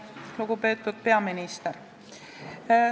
Lugupeetud peaminister!